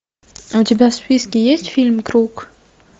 у тебя в списке есть фильм круг